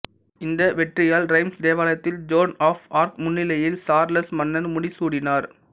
இந்த வெற்றியால் ரைம்சு தேவாலயத்தில் ஜோன் ஆஃப் ஆர்க் முன்னிலையில் சார்ல்ஸ் மன்னர் முடி சூடினார்